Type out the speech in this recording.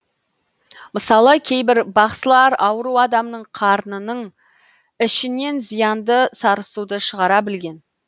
мысалы кейбір бақсылар ауру адамның қарнының ішінен зиянды сарысуды шығара білген